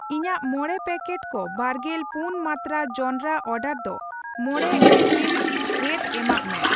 ᱤᱧᱟᱜ ᱢᱚᱲᱮ ᱯᱮᱠᱮᱴ ᱠᱚ ᱵᱟᱨᱜᱮᱞ ᱯᱩᱱ ᱢᱟᱱᱛᱨᱟ ᱡᱚᱱᱰᱨᱟ ᱚᱰᱟᱨ ᱫᱚ ᱢᱚᱲᱮ ᱤᱯᱤᱞ ᱨᱮᱴ ᱮᱢᱟᱜ ᱢᱮ ᱾